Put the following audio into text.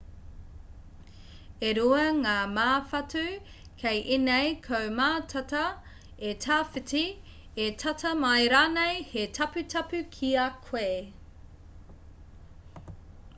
e rua ngā māwhatu kei ēnei kau mātata e tawhiti e tata mai rānei he taputapu ki a koe